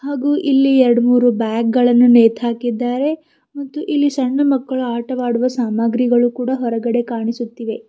ಹಾಗೂ ಇಲ್ಲಿ ಎರಡ್ ಮೂರು ಬ್ಯಾಗ್ ಗಳನ್ನು ನೇತ್ ಹಾಕಿದ್ದಾರೆ ಮತ್ತು ಇಲ್ಲಿ ಸಣ್ಣ್ ಮಕ್ಕಳ ಆಟವಾಡುವ ಸಾಮಾಗ್ರಿಗಳು ಕೂಡ ಹೊರಗಡೆ ಕಾಣಿಸುತ್ತಿವೆ.